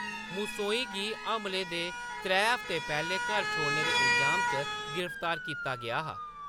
मुसौई गी हमलें दे त्रै हफ्ते पैह्‌‌‌लें घर छोड़ने दे इल्जाम च गिरफ्तार कीता गेआ हा।